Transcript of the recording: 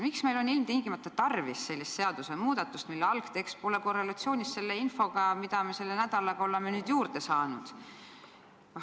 Miks meil on ilmtingimata tarvis sellist seadusmuudatust, mille algtekst pole korrelatsioonis infoga, mida me selle nädalaga oleme juurde saanud?